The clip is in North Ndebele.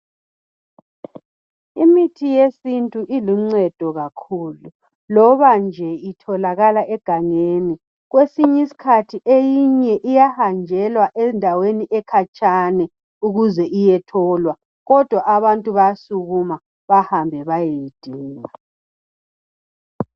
Imithi yesintu iluncedo kakhulu loba nje itholakala egangeni, kwesinye esinye isikhathi eyinye iyahanjelwa endaweni ekhatshana ukuze iyetholwa kodwa abantu bayasukuma ukuze bahambe bayoyidinga.